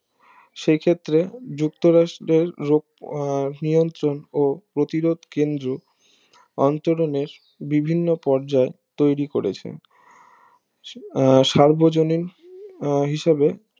সে ক্ষেত্রে যুক্ত রাষ্ট্র দেড় আহ নিয়ন্ত্রণ প্রতিরোধ কেন্দ্র অন্তরণের বিভিন্ন পর্যায় তৈরি করেছেন আহ সার্বজনীন আহ হিসাবে